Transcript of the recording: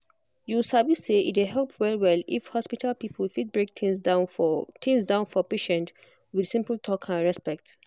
you sabi say e dey help well-well if hospital people fit break things down for things down for patient with simple talk and respect.